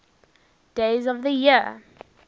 days of the year